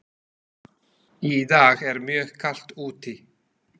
Í dag er mjög kalt úti.